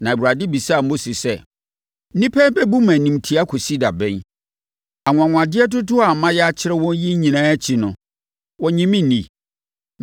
na Awurade bisaa Mose sɛ, “Nnipa yi bɛbu me animtia akɔsi da bɛn? Anwanwadeɛ dodoɔ a mayɛ akyerɛ wɔn yi nyinaa akyi no, wɔnnye me nni?